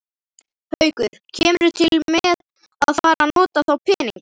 Haukur: Kemurðu til með að fara að nota þá peninga?